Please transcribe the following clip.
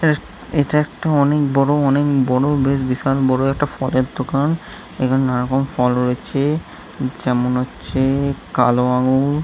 এ এইটা একটা অনেক বড় অনেক বড় বেশ বিশাল বড় একটা ফলের দোকান | এখানে নানা রকম ফল রয়েছে যেমন হচ্ছে কালো আঙ্গুর--